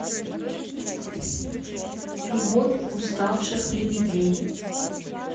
любовь уставших лебедей